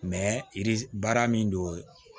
yiri baara min don